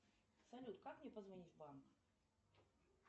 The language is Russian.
салют как мне позвонить в банк